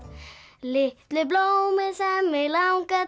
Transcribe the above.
litlu blómin sem mig langar